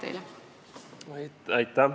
Aitäh!